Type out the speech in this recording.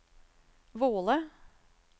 Våle